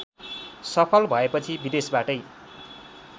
सफल भएपछि विदेशबाटै